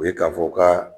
O ye k'a fɔ ka